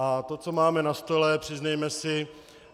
A to, co máme na stole, přiznejme si...